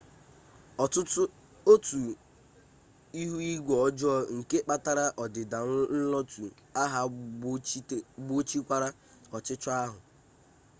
otu ihu igwe ọjọọ nke kpatara ọdịda nlotu ahụ gbochikwara ọchịchọ ahụ